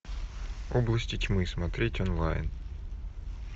области тьмы смотреть онлайн